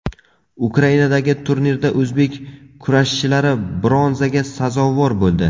Ukrainadagi turnirda o‘zbek kurashchilari bronzaga sazovor bo‘ldi.